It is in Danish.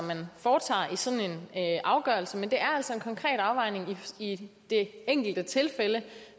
man foretager i sådan en afgørelse men det er altså en konkret afvejning i det enkelte tilfælde